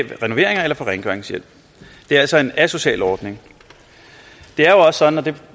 renoveringer eller få rengøringshjælp det er altså en asocial ordning det er jo også sådan og det